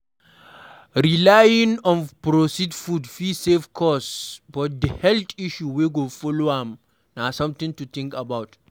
Relying on processed food fit save cost but di health issue wey go follow am na something to think about